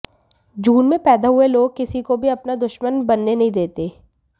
जून में पैदा हुए लोग किसी को भी अपना दुशमन बनने नहीं देते